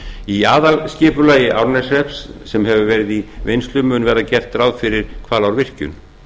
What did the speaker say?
í aðalskipulagi árneshrepps sem hefur verið í vinnslu mun vera gert ráð fyrir hvalárvirkjun